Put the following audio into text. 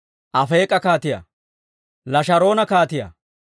Afeek'a kaatiyaa, Lasharoona kaatiyaa,